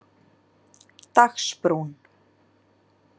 Dagsbrún